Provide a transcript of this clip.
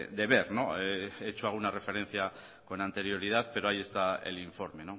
de ver he hecho alguna referencia con anterioridad pero ahí está el informe